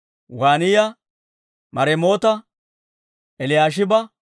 Waaniyaa, Maremoota, Eliyaashiba,